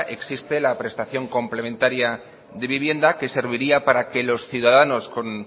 existe la prestación complementaria de vivienda que serviría para que los ciudadanos con